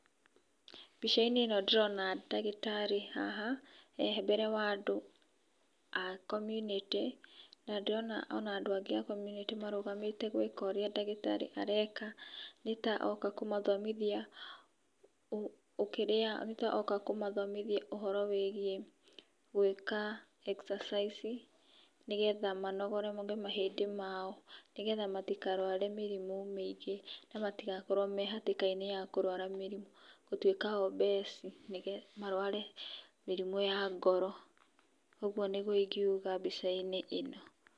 Mbica-inĩ ĩno ndĩrona ndagĩtarĩ haha e mbere wa andũ a community, na ndĩrona ona andũ angĩ a community marũgamĩte gwĩka ũrĩa ndagĩtarĩ areeka, nĩtaoka kũmathomithia ũhoro wĩgiĩ gwĩka exercise, nĩgetha manogore mahĩndĩ mao, nĩgetha matikarware mĩrimũ mĩingĩ, na matigakorwo me hatĩka-inĩ ya kũrwara mĩrimũ, gũtuĩka obese, marware mĩrimũ ya ngoro, ũguo nĩguo ingiuga mbica-inĩ ĩno.